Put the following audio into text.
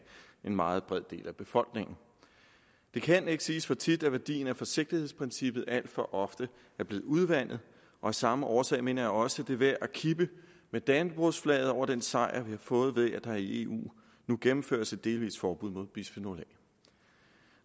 en meget bred del af befolkningen det kan ikke siges for tit at værdien af forsigtighedsprincippet alt for ofte er blevet udvandet af samme årsag mener jeg også det er værd at kippe med dannebrogsflaget over den sejr vi har fået ved at der i eu nu gennemføres et delvist forbud mod bisfenol a